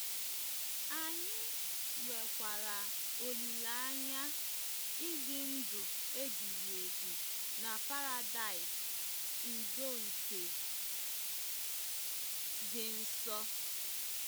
Anyị nwekwara olileanya ịdị ndụ ebighị ebi na Paradaịs udo nke dị nso.